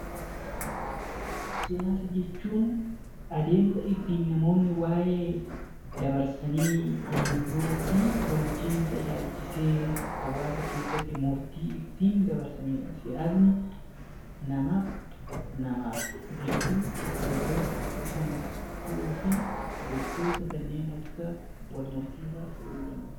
Siyaasa jechuun adeemsa ittiin namoonni wa'ee dabarsanii angoo fi bulchiinsa ilaalchisee hawaasa keessatti murtii ittiin dabarsani dha. Siyaasni namaaf namaaf gidduu gargar kan ta'uu fi gochoota kanneen akka wal morkii fa'a ta'uu danda'a.